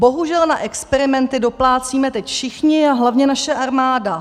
Bohužel na experimenty doplácíme teď všichni a hlavně naše armáda.